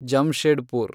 Jamshedpur